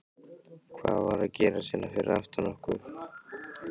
Hvað er að gerast hérna fyrir aftan okkur?